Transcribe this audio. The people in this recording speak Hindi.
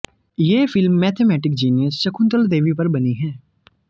ये film mathematic genius Shakuntala Devi पर बनी है